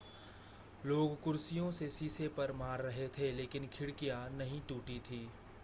लोग कुर्सियों से शीशे पर मार रहे थे लेकिन खिड़कियां नहीं टूटी थीं